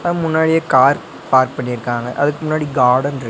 அ முன்னாடியே car park பண்ணிருக்காங்க அதுக்கு முன்னாடி கார்டன்ட்ரு --